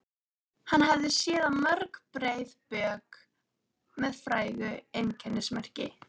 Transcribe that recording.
Hann hafði séð á mörg breið bök með frægu einkennismerki.